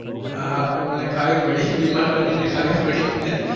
હા હવે મારે ખાવી પડી, બીમાર બની ને ખાવી પડી મને.